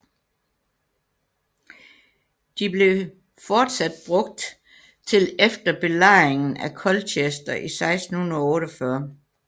De blev fortsat brugt til efter belejringen af Colchester i 1648